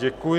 Děkuji.